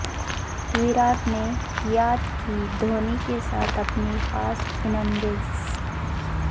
ویراٹ نے یاد کی دھونی کے ساتھ اپنی خاص اننگز